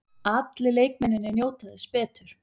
Allir leikmennirnir njóta þess betur.